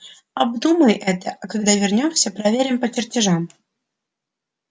обдумай это а когда вернёмся проверим по чертежам